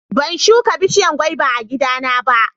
ban shuka bishiyan gwaba a gida na ba